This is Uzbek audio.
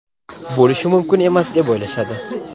bo‘lishi mumkin emas deb o‘ylashadi.